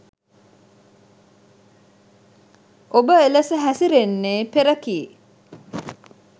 ඔබ එලෙස හැසිරෙන්නේ පෙර කී